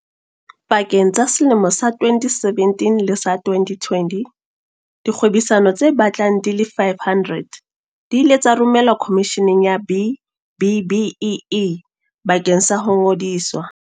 Pakeng tsa selemo sa 2017 le sa 2020, dikgwebisano tse batlang di le 500 di ile tsa romelwa Khomisheneng ya B-BBEE bakeng sa ho ngodiswa.